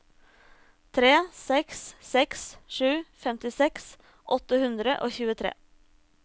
tre seks seks sju femtiseks åtte hundre og tjuetre